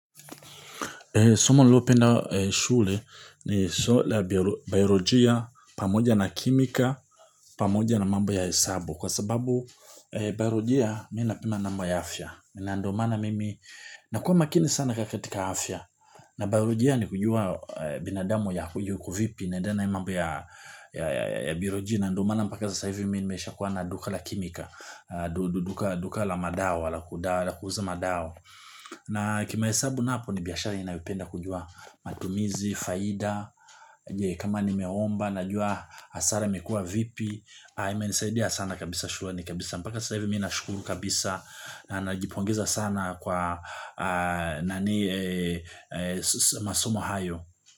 Somo niliyopenda shule ni bailojia, pamoja na kimika, pamoja na mambo ya hesabu. Kwa sababu bailojia, mimi napenda mambo ya afya. Na ndiyo maana mimi, na kuwa makini sana katika afya. Na bailojia ni kujua binadamu yuko vipi, na tena hii mambo ya bailojia. Na ndiyo maana mpaka sasa hivi, mimi nimeshakuwa na duka la kimika, duka la madawa, la kuuza madawa. Na kimahesabu napo ni biashari inayipenda kujua matumizi, faida, kama nimeomba, najua hasara imekuwa vipi, imenisaidia sana kabisa shukrani, kabisa mpaka sasa hivi mimi nashukuru kabisa na najipongeza sana kwa masomo hayo.